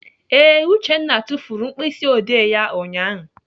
Ee, Uchenna tufuru mkpịsịodee ya ụnyaahụ.